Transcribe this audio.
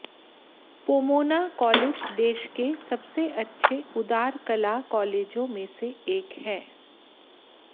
Pomona college देश के सबसे अच्छे उदार कला कॉलेजों में से एक है